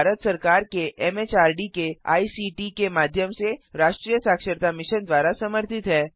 यह भारत सरकार के एमएचआरडी के आईसीटी के माध्यम से राष्ट्रीय साक्षरता मिशन द्वारा समर्थित है